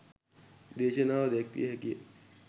දේශනාව දැක්විය හැකිය.